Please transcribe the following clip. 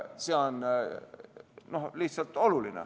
See on lihtsalt oluline.